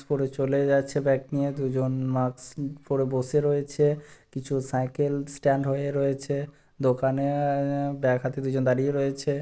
করে চলে যাচ্ছে ব্যাগ নিয়ে দুজন মাস্ক পড়ে বসে রয়েছে কিছু সাইকেল স্ট্যান্ড হয়ে রয়েছে দোকানে -এ-এ ব্যাগ হাতে দুজন দাঁড়িয়ে রয়েছে।